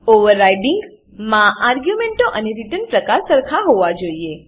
overriding માં આર્ગ્યુંમેંટો અને રીટર્ન પ્રકાર સરખા હોવા જોઈએ